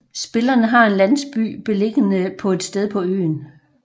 Spillene har en landsby beliggende på et sted på øen